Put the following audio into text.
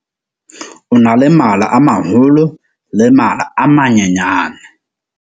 O na le mala a maholo le mala a manyenyane.